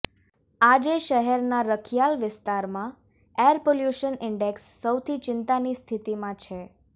આજે શહેરના રખિયાલ વિસ્તારમાં એર પોલ્યુશન ઈન્ડેકસ સૌથી ચિંતાની સ્થિતિમાં છે